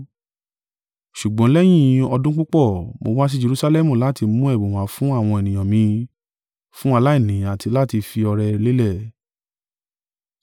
“Ṣùgbọ́n lẹ́yìn ọdún púpọ̀, mo wá sí Jerusalẹmu láti mu ẹ̀bùn wá fún àwọn ènìyàn mi fún aláìní àti láti fi ọrẹ lélẹ̀.